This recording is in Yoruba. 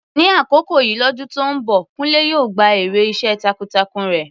Ní àkókò yìí lọ́dún tó ń bọ̀, Kunle yóò gba èrè iṣẹ́ takuntakun rẹ̀.